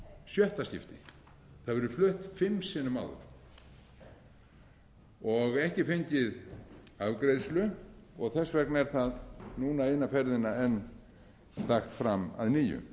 sjötta skipti það hefur verið flutt fimm sinnum áður og ekki fengið afgreiðslu þess vegna er það núna eina ferðina enn lagt fram að nýju